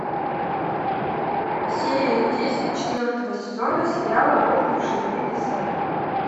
серия десять четвертого сезона сериала рухнувшие небеса